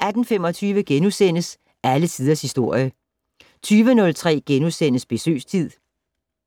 18:25: Alle Tiders Historie * 20:03: Besøgstid *